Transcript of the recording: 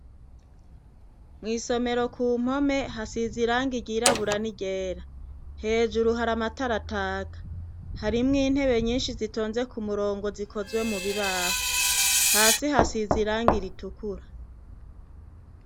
Mw' isomero kumpome hasiz' irangi ryirabura ni ryera, hejuru har' amatar' ataka, harimw' intebe nyinshi zitonze k' umurongo zikozwe mu mbaho, hasi kw' isima hasiz' irangi ritukura.